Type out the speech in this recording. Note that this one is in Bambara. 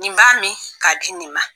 Nin b'a min k'a di nin ma.